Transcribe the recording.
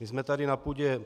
My jsme tady na půdě